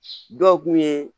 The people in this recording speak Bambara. Dɔw kun ye